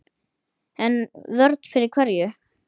En vörn fyrir hverju?